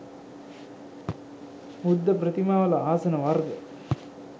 බුද්ධ ප්‍රතිමාවල ආසන වර්ග